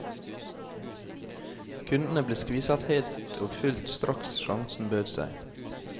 Kundene ble skviset helt og fullt straks sjansen bød seg.